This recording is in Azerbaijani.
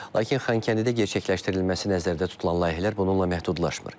Lakin Xankəndidə gerçəkləşdirilməsi nəzərdə tutulan layihələr bununla məhdudlaşmır.